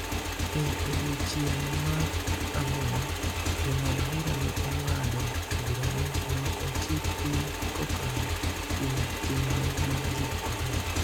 E odiechieng� mar ang�wen, Jong'ad bura ne ong�ado bura ni loko chik piny kokalo kuom chenro ma ji ohero